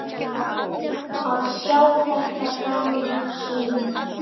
Að sjá þetta gamla svín.